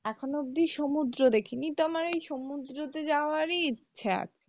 এখনও অব্দি সমুদ্র দেখিনি তো আমার ওই সমুদ্রতে যাওয়ারই ইচ্ছা।